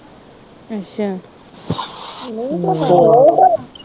ਅੱਛਾ